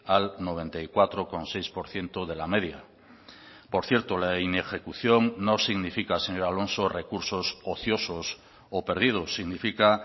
al noventa y cuatro coma seis por ciento de la media por cierto la inejecución no significa señor alonso recursos ociosos o perdidos significa